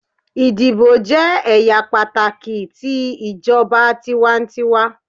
Idibo jẹ ẹya pataki ti ijọba tiwantiwa